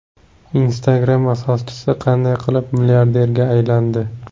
Instagram asoschisi qanday qilib milliarderga aylandi?.